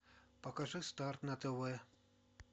покажи старт на тв